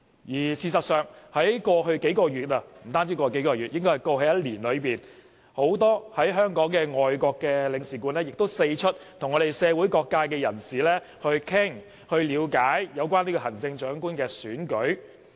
而事實上，在過去數個月——不單過去數個月而是過去1年——很多駐港的外國領事館人員亦四出跟社會各界人士談論及了解有關行政長官選舉的事宜。